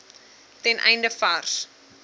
ten einde vars